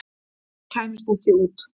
Þeir kæmust ekki út.